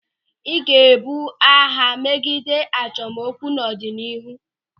Ị ga-ebu agha megide achọmokwu n'ọdịnihu.